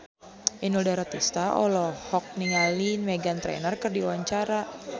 Inul Daratista olohok ningali Meghan Trainor keur diwawancara